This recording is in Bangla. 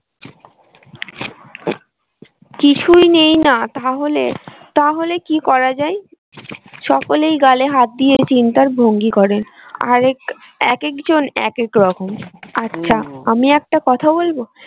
কিছুই নেই না তাহলে, তাহলে কি করা যায় সকলেই গালে হাত দিয়ে চিন্তার ভঙ্গি করে আর এক এক এক জন এক এক রকম আমি একটা কথা বলবো?